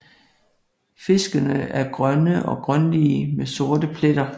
Fiskene er grønne eller grønlige med sorte pletter